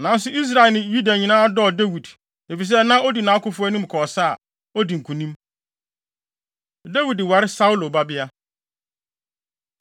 Nanso Israel ne Yuda nyinaa dɔɔ Dawid, efisɛ na odi nʼakofo anim kɔ ɔsa a, odi nkonim. Dawid Ware Saulo Babea